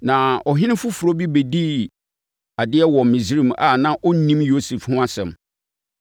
Na ɔhene foforɔ bi bɛdii adeɛ wɔ Misraim a na ɔnnim Yosef ho asɛm.